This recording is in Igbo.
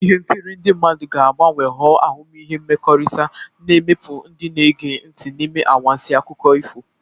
Ihe nkiri ndị mmadụ ga-agbanwe ghọọ ahụmịhe mmekọrịta, na-emikpu ndị na-ege ntị n'ime anwansi akụkọ ifo.